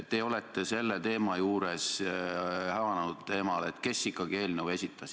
Te olete selle teema juures hämanud teemal, et kes ikkagi eelnõu esitas.